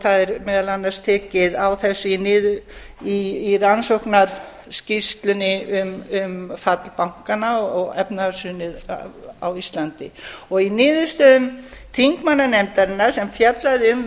það er meðal annars tekið á þessu í rannsóknarskýrslunni um fall bankanna og efnahagshrunið á íslandi í niðurstöðum þingmannanefndarinnar sem fjallaði um